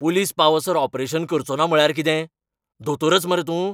Police पावसर operation करचोना म्हळ्यार कितें? दोतोरच मरे तूं ?